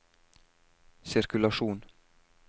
sirkulasjon